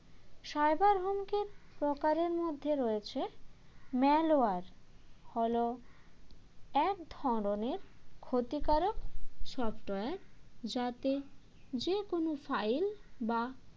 cyber হুমকির প্রকারের মধ্যে রয়েছে malware হল এক ধরনের ক্ষতিকারক software যাতে যে কোনও file বা